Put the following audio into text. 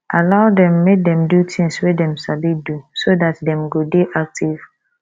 allow dem make dem do things wey dem sabi do so dat dem go dey active